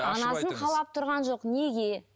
қалап тұрған жоқ неге